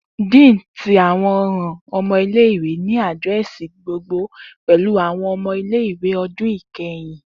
Dean ti awọn ọran ọmọ ile-iwe ni adirẹsi gbogbogbo pẹlu awọn ọmọ ile-iwe ọdun ikẹhin.